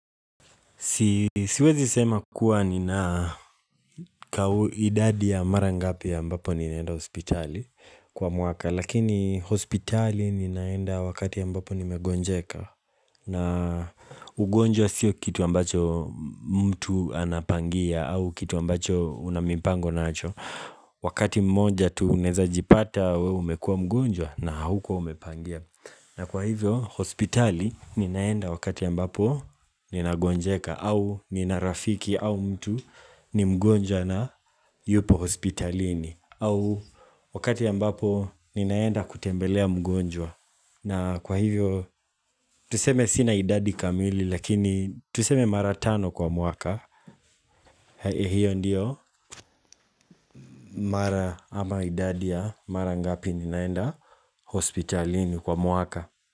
Siwezi sema kuwa ninaa kauidadi ya marangapi ambapo ninaenda hospitali kwa mwaka Lakini hospitali ninaenda wakati ambapo nimegonjeka na ugonjwa sio kitu ambacho mtu anapangia au kitu ambacho unamipango nacho Wakati mmoja tu unaeza jipata wewe umekua mgonjwa na haukuwa umepangia na kwa hivyo, hospitali ninaenda wakati ambapo nina gonjeka au nina rafiki au mtu ni mgonjwa na yupo hospitalini au wakati ambapo ninaenda kutembelea mgonjwa na kwa hivyo, tuseme sina idadi kamili lakini tuseme mara tano kwa mwaka Hei hiyo ndiyo, mara ama idadi ya mara ngapi ninaenda hospitalini kwa mwaka.